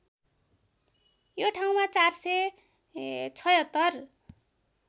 यो ठाउँमा ४७६